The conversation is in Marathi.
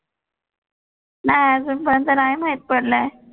नाही अजून पर्यंत नाही माहित पडलाय.